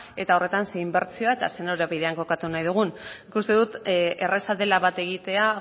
eta horretan ze inbertsioa eta ze norabidean kokatu nahi dugun nik uste dut erraza dela bat egitea